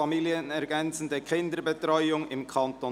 «Familienergänzende Kinderbetreuung im Kanton